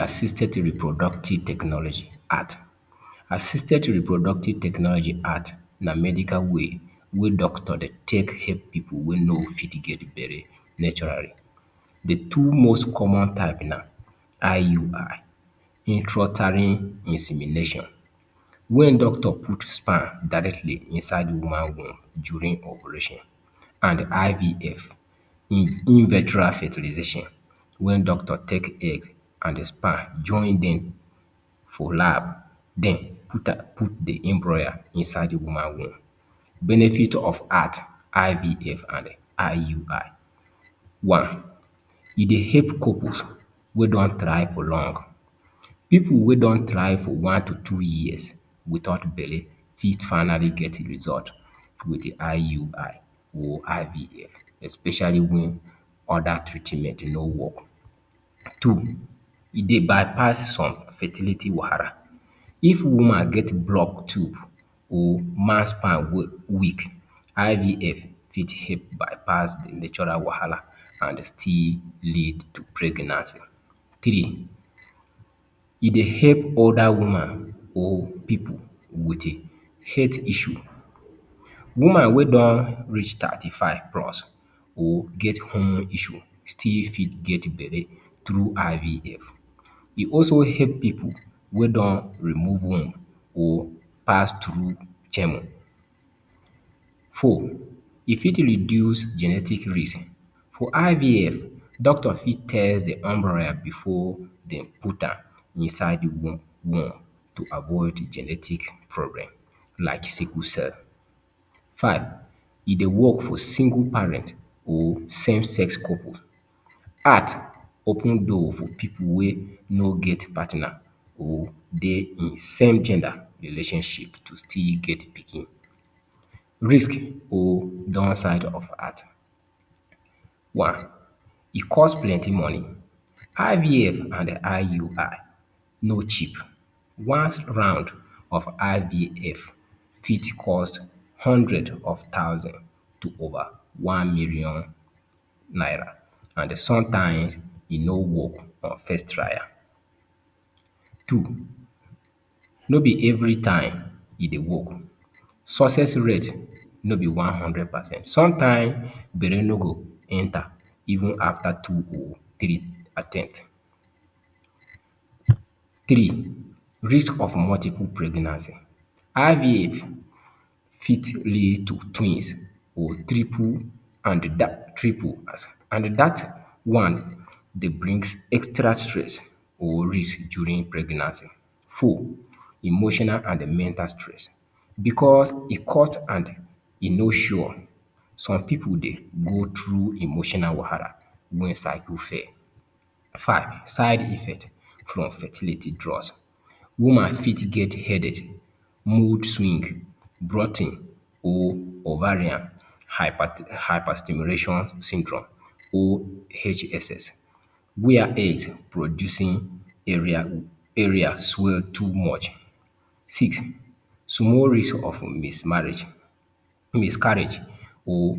Assisted Reproductive Technology - ART? Assisted Reproductive Technology - ART na medical way wey doctor dey take help pipu wey no fit get belle naturally. The two most common type na; IUI - Intrauterine insemination—wen doctor put sperm directly inside woman womb during operation; an IVF - In In Vitro Fertilization—wen doctor take egg an the sperm join dem for lab den put am, put the embryo inside the woman womb. Benefit of ART, IVF an IUI One, E dey help couples wey don try for long: Pipu wey don try for one to two years without belle fit finally get result with IUI or IVF, especially wen other treatment no work. Two, E dey bypass some fertility wahala: If woman get block tube, or man's sperm weak, IVF fit help bypass the natural wahala an still lead to pregnancy. Three, E dey help older woman or pipu with a health issue: Woman wey don reach thirty-five plus or get hormone issue still fit get belle through IVF. E also help pipu wey don remove womb or pass through chemo. Four, E fit reduce genetic risk: For IVF, doctor fit test the embryo before de put am inside the womb womb to avoid genetic problem like sickle cell. Five, e dey work for single parent or same sex couple. ART open door for pipu wey no get partner or dey same gender relationship to still get pikin. Risk or downside of ART. One, E cost plenty money: IVF and IUI no cheap. One round of IVF fit cost hundred of thousand to over one million naira, an sometimes, e no work on first trial. Two, No be every time e dey work: Success rate no be one hundred percent. Sometimes, belle no go enter even after two or three attempt. Three, Risk of multiple pregnancy: IVF fit lead to twins or triple an dat triple an dat one dey brings extra stress or risk during pregnancy. Four, Emotional and mental stress: Becos e cost an e no sure, some pipu dey go through emotional wahala wen cycle fail. Five, Side effect from fertility drugs: Woman fit get headache, moodswing, bloating or Ovarian Hyper Hyperstimulation Syndrome OHSS where eggs producing area area swell too much. Six, Small risk of mismarriage, miscarriage or